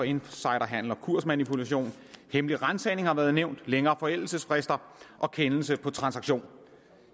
insiderhandel og kursmanipulation hemmelig ransagning har været nævnt længere forældelsesfrister og kendelse på transaktion